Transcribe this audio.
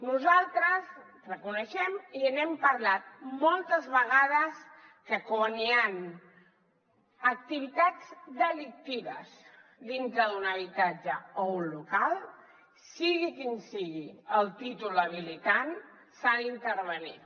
nosaltres reconeixem i n’hem parlat moltes vegades que quan hi han activitats delictives dintre d’un habitatge o un local sigui quin sigui el títol habilitant s’ha d’intervenir